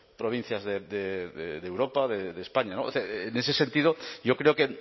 provincias de europa de españa o sea en ese sentido yo creo que